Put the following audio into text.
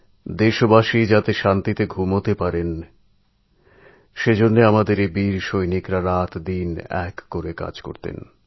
দেশবাসী যাতে নিশ্চিন্তে ঘুমোতে পারেন সেদিকে খেয়াল রেখে এইসব বীর সুসন্তানরা দিনরাত এক করে সজাগ দৃষ্টি রেখে চলতো